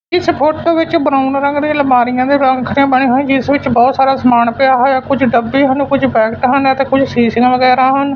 ਇਸ ਫ਼ੋਟੋ ਵਿੱਚ ਬਰਾਊਨ ਰੰਗ ਦੀ ਅਲਮਾਰਿਆਂ ਦੇ ਬਣੇ ਹੋਏ ਜਿੱਸ ਵਿੱਚ ਬਹੁਤ ਸਾਰਾ ਸਮਾਨ ਪਿਆ ਹੋਇਆ ਕੁਝ ਡੱਬੇ ਹਨ ਕੁਝ ਪੈਕੇਟ ਹਨ ਅਤੇ ਕੁਝ ਸ਼ੀਸ਼ਿਆਂ ਵਗੈਰਾ ਹਨ।